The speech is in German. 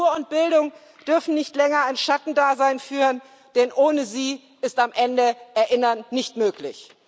Kultur und Bildung dürfen nicht länger ein Schattendasein führen, denn ohne sie ist am Ende Erinnern nicht möglich.